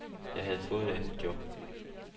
Jeg havde fået et andet job.